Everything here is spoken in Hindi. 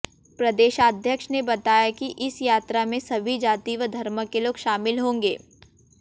प्रदेशाध्यक्ष ने बताया कि इस यात्रा में सभी जाति व धर्म के लोग शामिल होंगें